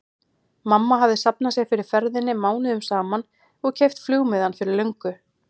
Mamma hefði safnað sér fyrir ferðinni mánuðum saman og keypt flugmiðann fyrir löngu.